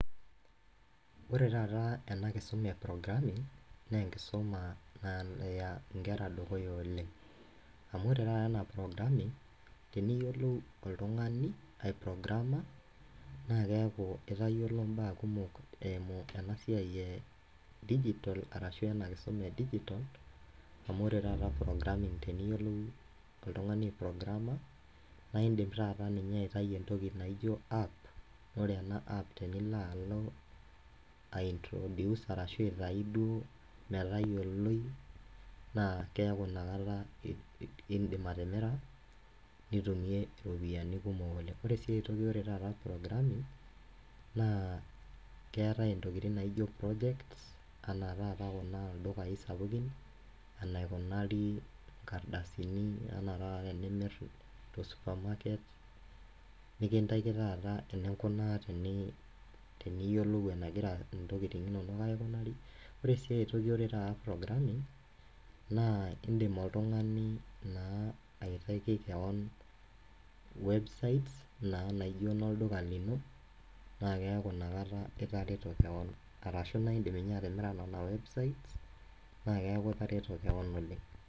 Ore taata ena enkisuma e programming naa enkisuma naya inkera dukuya oleng, amu ore taata ana programming, teniyiolou oltungani aiprograama naa kekau itayiolo imbaa kumok eimu ena siai e digitol arashu ena enkisuma e digitol, amu ore taata programming teniyiolou noltungani aiprograama naa indim taata ninye aitayu entoki naijo App, ore ena app tenilo alo aintroduce arashu aitayu duo metayoloi naa keaku inakata indimi atimira nitumie iropiyiani kumok oleng, kore esiai taata e programming naa keatae ntokitin naijo project ana taata kuna dukai sapukin enaikunari inkardasini ana taata tenimir to supermarket nikintaki taata eninkunaa teniyiolou enegira ntokitin inono aikunari, ore sii aitoki ore taata programming naa indim oltungani naa aitaki keon websites naa naijo no lduka lino, naa keaku inakata itareto ninye, arashu naa indim ninye atimira nenia websites[ naa keaku itareto keon oleng.